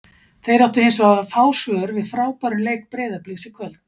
Þeir áttu hins vegar fá svör við frábærum leik Breiðabliks í kvöld.